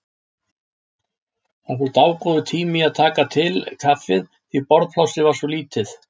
Það fór dágóður tími í að taka til kaffið því borðplássið var svo lítið.